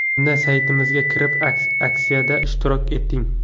Unda saytimizga kirib aksiyada ishtirok eting!